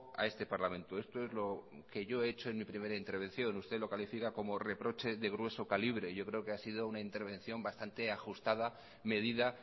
a este parlamento esto es lo que yo he hecho en mi primera intervención usted lo califica como reproche de grueso calibre y yo creo ha sido una intervención bastante ajustada medida